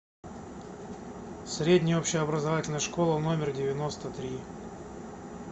средняя общеобразовательная школа номер девяносто три